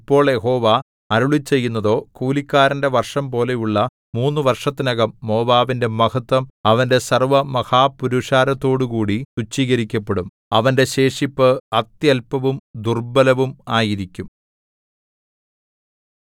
ഇപ്പോൾ യഹോവ അരുളിച്ചെയ്യുന്നതോ കൂലിക്കാരന്റെ വർഷംപോലെയുള്ള മൂന്ന് വർഷത്തിനകം മോവാബിന്റെ മഹത്ത്വം അവന്റെ സർവ്വമഹാപുരുഷാരത്തോടുകൂടി തുച്ഛീകരിക്കപ്പെടും അവന്റെ ശേഷിപ്പ് അത്യല്പവും ദുർബലവും ആയിരിക്കും